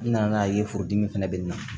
N nana n'a ye foro dimi fɛnɛ bɛ nin na